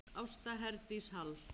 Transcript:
Ásta Herdís Hall.